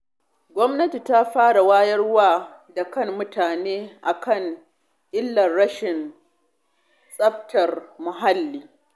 Gwamnati ta fara wayar da kan mutane a kan illar rashin tsaftace muhalli.